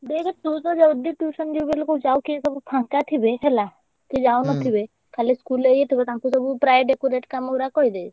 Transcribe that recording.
ଦେଖେ ତୁ ଯଦି tuition ଯିବୁ ବୋଲି କହୁଛୁ ଆଉ କିଏ ସବୁ ଫାଙ୍କା ଥିବେ ହେଲା କିଏ ଯାଉନଥିବେ ଖାଲି school ରେ ଇଏ ଥିବ ତାଙ୍କୁ ସବୁ ପ୍ରାୟ decorate କାମ ସବୁ କହିଦେ।